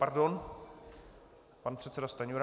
Pardon, pan předseda Stanjura.